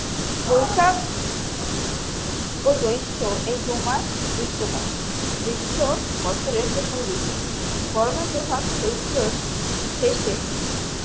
বৈশাখ ও জৈষ্ঠ্য এই দু মাস গ্রীস্ম কাল গ্রীস্ম বছরের প্রথম ঋতু গরমের প্রভাব চৈত্রর শেষে